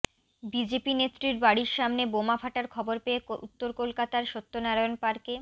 BJP নেত্রীর বাড়ির সামনে বোমা ফাটার খবর পেয়ে উত্তর কলকাতার সত্যনারায়ণ পার্কে